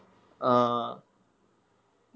ആഹ്